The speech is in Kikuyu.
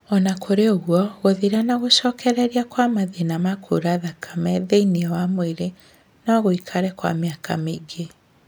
Ona kũrĩ ũguo, gũthira na gũcokereria kwa matina ma kura thakame thĩiniĩ wa mwĩrĩ no gũikare kwa mĩaka mĩingi